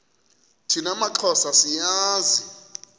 thina maxhosa siyazi